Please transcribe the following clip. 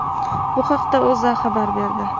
Bu haqda O‘zA xabar berdi.